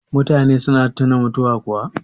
mutane suna tuna mutuwa kuwa